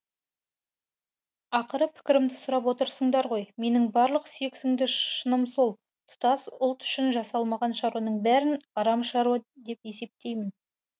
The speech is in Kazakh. ақыры пікірімді сұрап отырсыңдар ғой менің барлық сүйексіңді шыным сол тұтас ұлт үшін жасалмаған шаруаның бәрін арам шаруа деп есептеймін